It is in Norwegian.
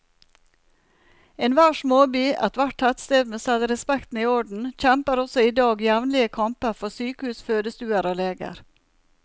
Enhver småby, ethvert tettsted med selvrespekten i orden, kjemper også i dag jevnlige kamper for sykehus, fødestuer og leger.